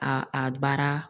A a baara